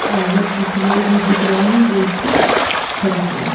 आगे कुछ लोग भी दिख रहे हैं जो इसको खरीद रहे हैं।